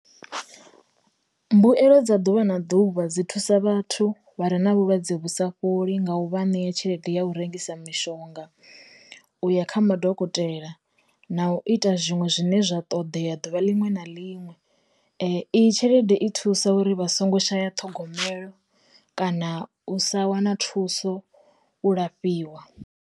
Mbuelo dza ḓuvha na ḓuvha dzi thusa vhathu vha re na vhulwadze vhu sa fholi nga u vha ṋea tshelede ya u rengisa mishonga, u ya kha madokotela, na u ita zwiṅwe zwine zwa ṱoḓea duvha liṅwe na liṅwe, iyi tshelede i thusa uri vha songo shaya ṱhogomelo, kana u sa wana thuso u lafhiwa.